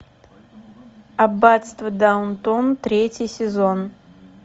аббатство даунтон третий сезон